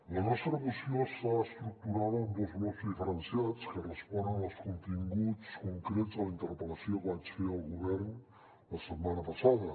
la nostra moció està estructurada en dos blocs diferenciats que responen als continguts concrets de la interpel·lació que vaig fer al govern la setmana passada